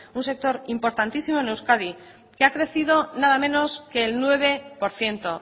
un sector importantísimo en euskadi que ha crecido nada menos que el nueve por ciento